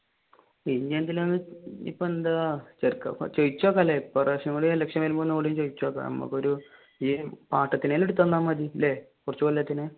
ഇനിയെന്തിനാണ് ഇനിയെന്താ ചോദിച്ചുനോക്കാമല്ലേ ഒരുപ്രാവശ്യം കൂടി election വരുമ്പ ചോദിച്ചു നോക്ക നമുക്ക് ഒരു പാട്ടത്തിന് എങ്കിലും എടുത്ത് തന്ന മതി അല്ലെ കുറച്ചു കൊല്ലത്തിന്